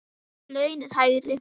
Laun eru lægri.